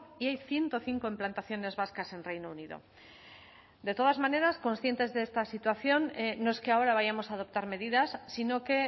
y hay ciento cinco implantaciones vascas en reino unido de todas maneras conscientes de esta situación no es que ahora vayamos a adoptar medidas sino que